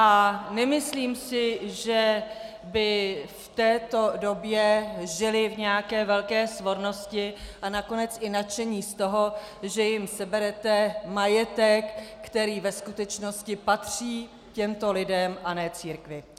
A nemyslím si, že by v této době žili v nějaké velké svornosti a nakonec i nadšení z toho, že jim seberete majetek, který ve skutečnosti patří těmto lidem, a ne církvi.